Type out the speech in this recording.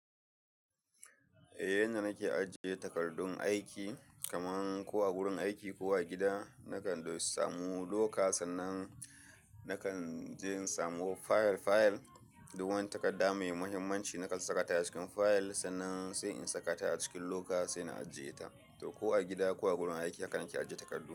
Eh, yanda nake ajiye takardun aiki kaman ko a gurin aiki ko a gida, nakan samu loka sannan nakan je in samu fayil fayil. Duk wani takarda mai muhimmanci nakan saka ta a cikin fayil sannan sai in saka ta a cikin loka sai na ajiye ta. To ko a gida ko a gurin aiki haka nake ajiye takardu.